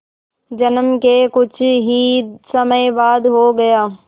जन्म के कुछ ही समय बाद हो गया